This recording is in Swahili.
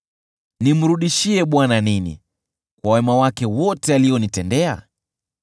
Nimrudishie Bwana nini kwa wema wake wote alionitendea?